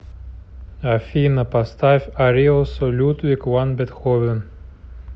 афина поставь ариосо людвиг ван бетховен